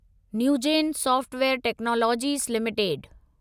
Newgen software technologies limited